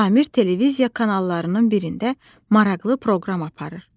Samir televiziya kanallarının birində maraqlı proqram aparır.